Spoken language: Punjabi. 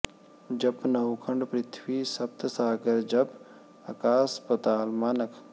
ਜਪੈ ਨਉਖੰਡ ਪ੍ਰਿਥਵੀ ਸਪਤ ਸਾਗਰ ਜਪੈ ਅਕਾਸ ਪਤਾਲ ਮਾਨਕ